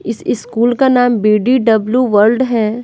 इस स्कूल का नाम बी_डी_डब्ल्यू वर्ल्ड है।